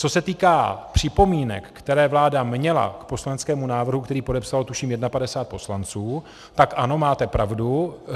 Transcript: Co se týká připomínek, které vláda měla k poslaneckému návrhu, který podepsalo, tuším, 51 poslanců, tak ano, máte pravdu.